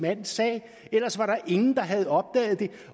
mands sag ellers var der ingen der havde opdaget det